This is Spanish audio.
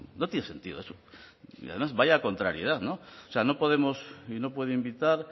no tiene sentido eso y además vaya contrariedad no o sea no podemos y no puede invitar